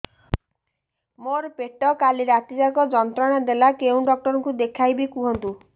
ମୋର ପେଟ କାଲି ରାତି ଯାକ ଯନ୍ତ୍ରଣା ଦେଲା କେଉଁ ଡକ୍ଟର ଙ୍କୁ ଦେଖାଇବି କୁହନ୍ତ